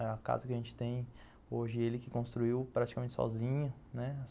A casa que a gente tem hoje ele que construiu praticamente sozinho, né?